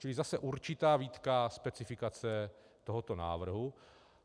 Čili zase určitá výtka specifikace tohoto návrhu.